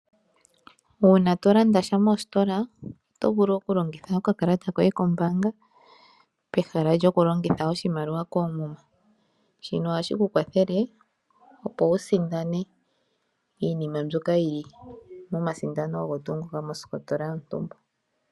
Uuna tolanda sha mositola oto vulu okulongitha okakalata koye kombanga pehala lyo kulongitha oshimaliwa shoye koomuma, shino ohashi kukwathele opo wusindane iinima mbyoka yi li momasindano ngoka geli mositola yontumba.